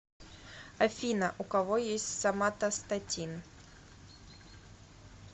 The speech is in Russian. афина у кого есть соматостатин